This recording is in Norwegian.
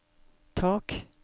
tak